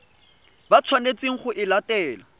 ba tshwanetseng go e latela